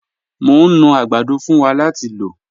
Mọ̀ ń nú agbàdọ̀ fún wá láti lọ̀.